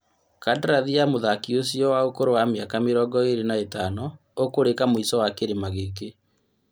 Kandarathi ya mũthaki ũcio wa ũkũrũ wa mĩaka mĩrongo ĩrĩ na ĩtano ũkũrĩka mũico wa kĩrĩma gĩkĩ.